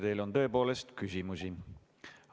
Teile on tõepoolest küsimusi.